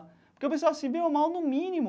Porque eu pensava assim, bem ou mal no mínimo,